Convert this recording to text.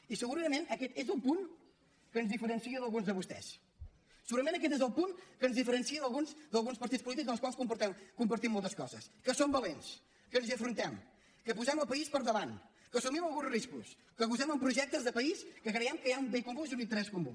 i segurament aquest és un punt que ens diferencia d’alguns de vostès segurament aquest és el punt que ens diferencia d’alguns partits polítics amb els quals compartim moltes coses que som valents que ens hi afrontem que posem el país per davant que assumim alguns riscos que gosem amb projectes de país en què creiem que hi ha un bé comú i un interès comú